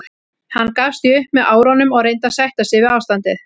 Hann gafst því upp með árunum og reyndi að sætta sig við ástandið.